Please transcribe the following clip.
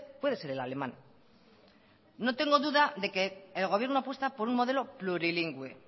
puede ser el alemán no tengo duda de que el gobierno apuesta por un modelo plurilingüe